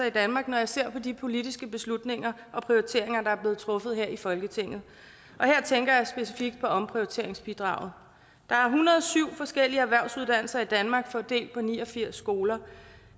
i danmark når jeg ser på de politiske beslutninger og prioriteringer der er blevet truffet her i folketinget og her tænker jeg specifikt på omprioriteringsbidraget der er en hundrede og syv forskellige erhvervsuddannelser i danmark fordelt på ni og firs skoler